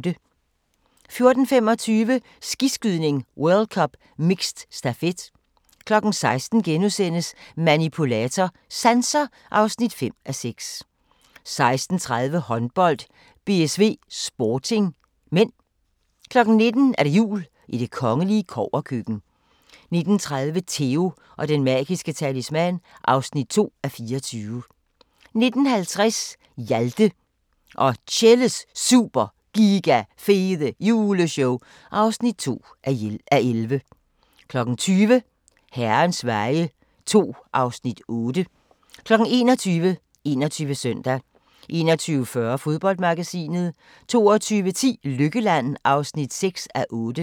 14:25: Skiskydning: World Cup - mixed stafet 16:00: Manipulator – Sanser (5:6)* 16:30: Håndbold: BSV-Sporting (m) 19:00: Jul i det kongelige kobberkøkken 19:30: Theo & den magiske talisman (2:24) 19:50: Hjalte og Tjelles Super Giga Fede Juleshow (2:11) 20:00: Herrens veje II (Afs. 8) 21:00: 21 Søndag 21:40: Fodboldmagasinet 22:10: Lykkeland (6:8)